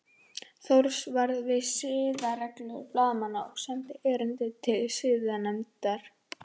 Thors varða við siðareglur blaðamanna og sendi erindi til siðanefndar